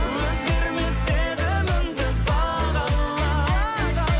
өзгермес сезімімді бағала